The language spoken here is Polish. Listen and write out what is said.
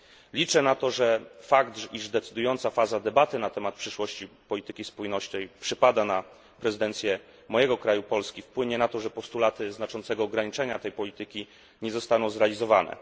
Liczę na to, że fakt, iż decydująca faza debaty na temat przyszłości polityki spójności przypada na prezydencję mojego kraju, Polski, wpłynie na to, że postulaty znaczącego ograniczenia tej polityki nie zostaną zrealizowane.